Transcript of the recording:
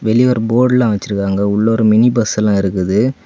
வெளிய ஒரு போர்டுல வச்சிருக்காங்க உள்ள ஒரு மினிபஸ் எல்லா இருக்குது.